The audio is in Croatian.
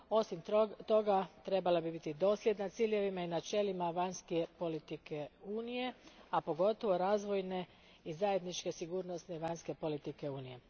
Osim toga, trebala bi biti dosljedna ciljevima i načelima vanjske politike Unije, a pogotovo razvojne i zajedničke sigurnosne vanjske politike Unije.